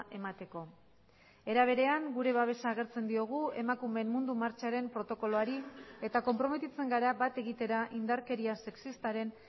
emateko era berean gure babesa agertzen diogu emakumeen mundu martxaren protokoloari eta konprometitzen gara bat egitera indarkeria sexistaren